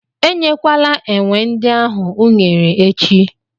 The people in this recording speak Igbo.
E nyekwala enwe ndị ahụ unere echi!